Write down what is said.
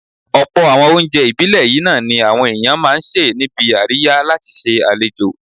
Ọ̀pọ̀ àwọn oúnjẹ ìbílẹ̀ yìí náà ni àwọn èèyàn máa ń sè níbi àríyá láti ṣe àlejò